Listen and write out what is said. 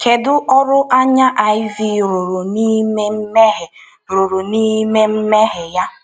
Kedu ọrụ anya Iv rụrụ n’ime mmehie rụrụ n’ime mmehie ya?